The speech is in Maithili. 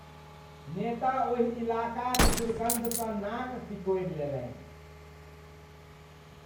नेता ओहि इलाका क दुर्गन्धसँ नाक सिकोड़ि लेलनि।